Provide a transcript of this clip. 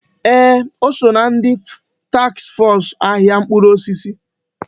Ee! O so ná taks fọs ahịa mkpụrụ osisi.